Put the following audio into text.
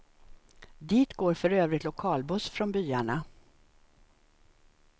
Dit går för övrigt lokalbuss från byarna.